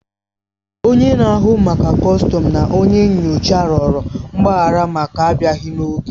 Onye na-ahụ maka kọstọm na onye nyocha rịọrọ mgbaghara maka abịaghi n'oge